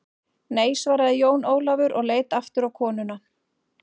Nei, svaraði Jón Ólafur og leit aftur á konuna.